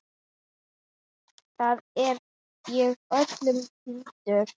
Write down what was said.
Þar er ég öllum týndur.